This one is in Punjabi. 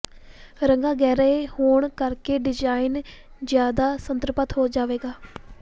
ਰੰਗਾਂ ਗਹਿਰੇ ਹੋਣ ਕਰਕੇ ਡਿਜ਼ਾਈਨ ਜ਼ਿਆਦਾ ਸੰਤ੍ਰਿਪਤ ਹੋ ਜਾਵੇਗਾ